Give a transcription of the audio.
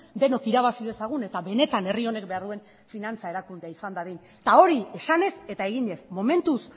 denok irabazi dezagun eta benetan herri honek behar duen finantza erakundea izan dadin eta hori esanez eta eginez momentuz